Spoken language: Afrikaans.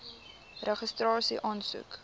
registrasieaansoek